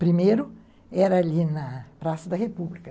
Primeiro, era ali na Praça da República.